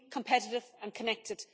Clean, competitive and connected.